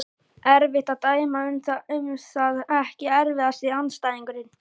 Erfitt að dæma um það Ekki erfiðasti andstæðingur?